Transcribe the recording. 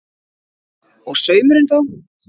Og saumurinn þá?